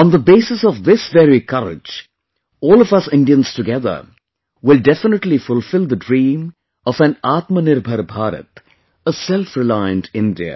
On the basis of this very courage, all of us Indians together will definitely fulfill the dream of an Aatmanirbhar Bharat, a selfreliant India